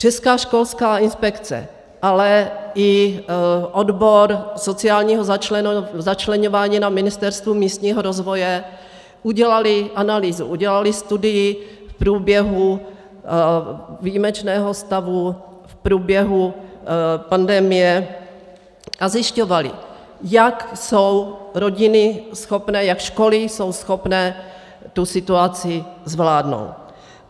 Česká školská inspekce, ale i odbor sociálního začleňování na Ministerstvu místního rozvoje udělaly analýzu, udělaly studii v průběhu výjimečného stavu, v průběhu pandemie, a zjišťovaly, jak jsou rodiny schopné, jak školy jsou schopné tu situaci zvládnout.